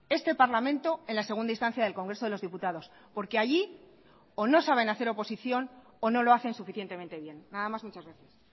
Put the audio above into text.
este parlamento en la segunda instancia del congreso de los diputados porque allí o no saben hacer oposición o no lo hacen suficientemente bien nada más muchas gracias